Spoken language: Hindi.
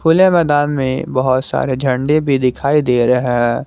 प्ले मैदान में बहुत सारे झंडे भी दिखाई दे रहे।